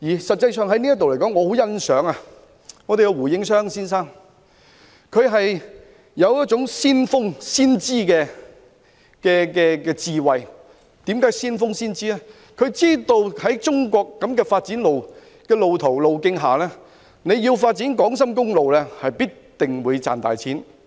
實際上，在這方面，我很欣賞胡應湘先生，他有一種先鋒、先知的智慧，知道按照中國的發展路徑，發展港深公路，必定會賺大錢。